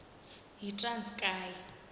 yitranskayi